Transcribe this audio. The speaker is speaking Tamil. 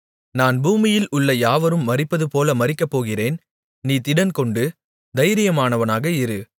நான் பூமியில் உள்ள யாவரும் மரிப்பதுப் போல மரிக்கப் போகிறேன் நீ திடன்கொண்டு தைரியமானவனாக இரு